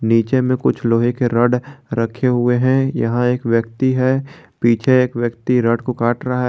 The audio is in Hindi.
पीछे में कुछ लोहे के रॉड रखे हुए हैं यहां एक व्यक्ति है पीछे एक व्यक्ति रॉड को काट रहा है।